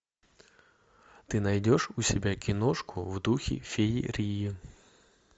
ты найдешь у себя киношку в духе феерии